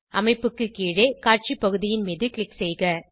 அமைப்பு கீழே காட்சி பகுதியின் மீது க்ளிக் செய்க